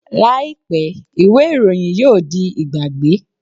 Làìpé, ìwé ìròyìn yóò di ìgbàgbé